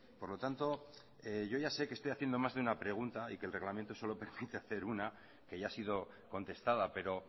por lo tanto yo ya sé que estoy haciendo más de una pregunta y que el reglamento solo permite hacer una que ya ha sido contestada pero